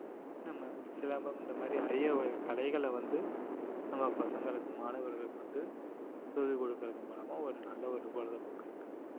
நம்ம சிலம்பம் இந்த மாதிரி அறிய வகை கலைகளை வந்து நம்ம பசங்களுக்கு மாணவர்களுக்கு வந்து சொல்லிக் கொடுக்கிறது மூலமா ஒரு நல்ல ஒரு பொழுதுபோக்கு இருக்கு